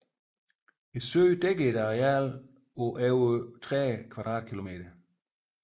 Søen dækker et areal på over 30 km2